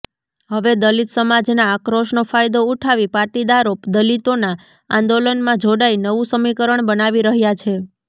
હવે દલિત સમાજના આક્રોશનો ફાયદો ઉઠાવી પાટીદારો દલિતોના આંદોલનમાં જોડાઇ નવું સમીકરણ બનાવી રહ્યા છે